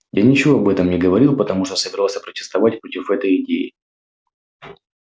я ничего об этом не говорил потому что собирался протестовать против этой идеи